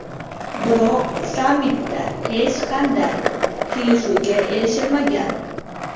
Biroq sammitda hech qanday kelishuvga erishilmagan.